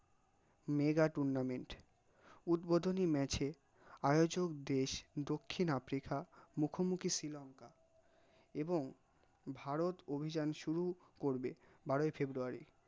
mega tournament উদ্বডনি match এ আয়োজগ দেশ, দক্ষিণ আফ্রিকা মুখ মুখী শ্রী লঙ্কা, এবং ভারত অভিযান সুরু করবে বারই ফেব্রুয়ারী